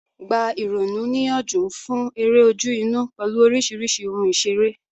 Gba ìrònú níyànjú fún eré ojú-inú pẹ̀lú oríṣiríṣi ohun ìṣeré.